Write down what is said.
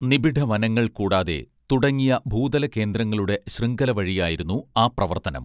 നിബിഢവനങ്ങൾ കൂടാതെ തുടങ്ങിയ ഭൂതലകേന്ദ്രങ്ങളുടെ ശൃംഖല വഴിയായിരുന്നു ആ പ്രവർത്തനം